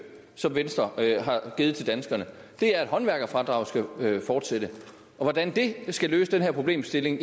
som venstre har givet til danskerne er at håndværkerfradraget skal fortsætte og hvordan det skal løse den her problemstilling